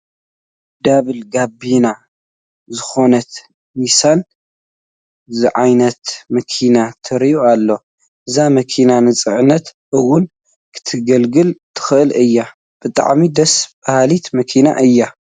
ዳብል ጋቢና ዝኾነት ኒሳን ዝዓይነታ መኪና ትርአ ኣላ፡፡ እዛ መኪና ንፅዕነት እውን ክተግልግል ትኽእል እያ፡፡ ብጣዕሚ ደስ በሃሊት መኪና እያ፡፡